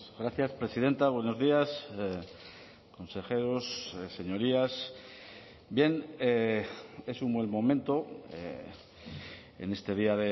gracias presidenta buenos días consejeros señorías bien es un buen momento en este día